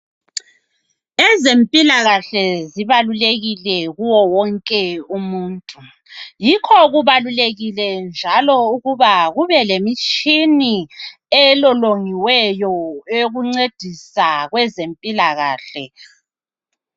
Ezempilakahle zibalulekile kuye wonke umuntu. Yikho kubalulekile njalo ukuba kube lemitshina elolongiweyo eyokuncedisa kwezempilakahle.